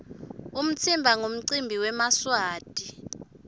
umtsimba nqumcimbi wemaswati